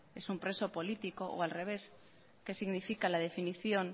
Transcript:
es un preso político o al revés qué significa la definición